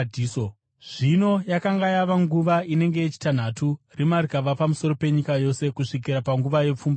Zvino yakanga yava nguva inenge yechitanhatu, rima rikava pamusoro penyika yose kusvikira panguva yepfumbamwe,